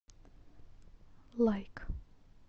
лайк